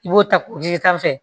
I b'o ta ji sanfɛ